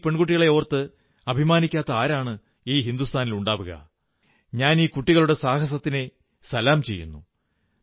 നമ്മുടെ ഈ പെൺകുട്ടികളെ ഓർത്ത് അഭിമാനിക്കാത്ത ആരാണ് ഈ ഹിന്ദുസ്ഥാനിലുണ്ടാവുക ഞാൻ ഈ കുട്ടികളുടെ സാഹസത്തെ നമിക്കുന്നു